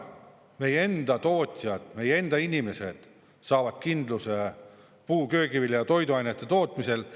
Meie enda tootjad, meie enda inimesed saavad kindluse puu- ja köögivilja ning toiduainete tootmisel.